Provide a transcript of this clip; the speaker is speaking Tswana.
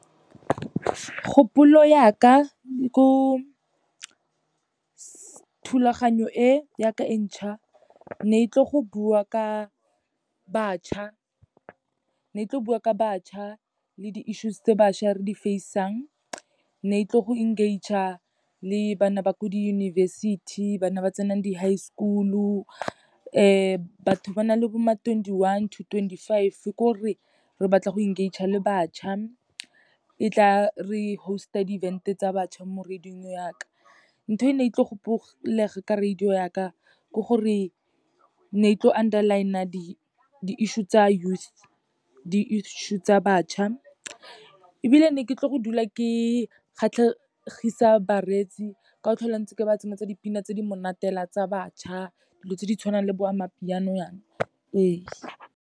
Kgopolo ya ka ko thulaganyo e ya ka e ntšha, ne tlo bua ka bašwa le di-issues tse bašwa re di-face-ang. Ne tlo go engage-a le bana ba ko diyunibesithi, bana ba tsenang di-high school-o, batho ba na le bo ma twenty-one to twenty-five, kore re batla go engage-a le bašwa, e tla re host-a di-events tsa bašwa mo radio-ng yaka. Ntho e ne e tle go ka radio ya ka, gore ne e tlo underline-a di-issue tsa youth, di-issue tsa bašwa, ebile ne ke tlo go dula ke kgatlhegisa bareetsi, ka go tlhola ntse ke ba tsenyetsa dipina tse di monate fela tsa bašwa, dilo tse di tshwanang le bo Amapiano yaana, ee.